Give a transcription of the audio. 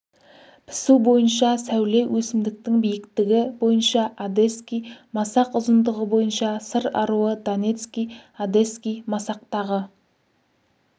пісу бойынша сәуле өсімдіктің биіктігі бойынша одесский масақ ұзындығы бойынша сыр аруы донецкий одесский масақтағы